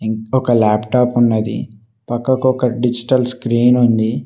ఒక లాప్టాప్ ఉన్నది పక్కకు ఒక డిజిటల్ స్క్రీన్ ఉంది.